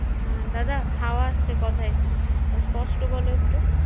হুম দাদা হাওয়া আসছে কথায় স্পস্ট বলো একটু